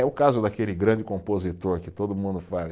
É o caso daquele grande compositor que todo mundo fala.